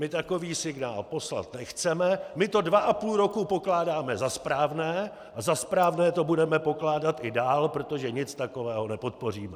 My takový signál poslat nechceme, my to dva a půl roku pokládáme za správné a za správné to budeme pokládat i dál, protože nic takového nepodpoříme.